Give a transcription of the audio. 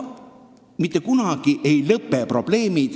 Probleemid ei lõpe mitte kunagi.